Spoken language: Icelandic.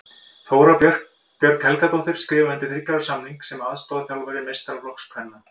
Þóra Björg Helgadóttir skrifaði undir þriggja ára samning sem aðstoðarþjálfari meistaraflokks kvenna.